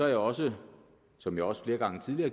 jeg også som jeg også flere gange tidligere